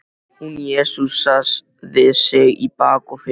Hún jesúsaði sig í bak og fyrir.